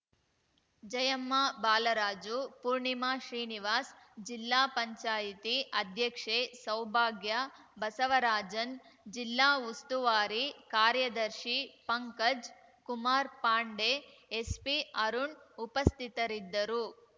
ಜಯಮ್ಮ ಬಾಲರಾಜು ಪೂರ್ಣಿಮಾ ಶ್ರೀನಿವಾಸ್‌ ಜಿಲ್ಲಾ ಪಂಚಾಯ್ತಿ ಅಧ್ಯಕ್ಷೆ ಸೌಭಾಗ್ಯ ಬಸವರಾಜನ್‌ ಜಿಲ್ಲಾ ಉಸ್ತುವಾರಿ ಕಾರ್ಯದರ್ಶಿ ಪಂಕಜ್‌ ಕುಮಾರ್‌ ಪಾಂಡೆ ಎಸ್ಪಿ ಅರುಣ್‌ ಉಪಸ್ಥಿತರಿದ್ದರು